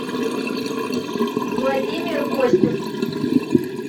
владимир костюк